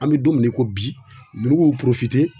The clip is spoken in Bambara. An bɛ don min na i ko bi ninnu y'u